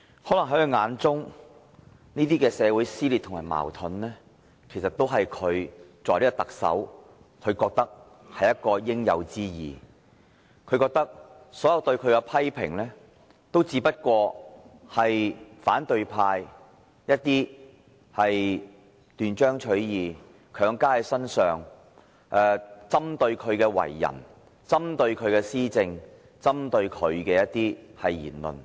可能在他的眼中，這些社會撕裂和矛盾均是他作為特首的應有之義，所有對他的批評只不過是反對派斷章取義，強加在他身上，針對他的為人，針對他的施政，針對他的言論。